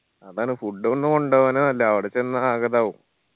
അതാണ് food ഒന്ന് കൊണ്ടുപോവന്നെ നല്ലെ അവിടെ ചെന്ന ആ ഇതാവു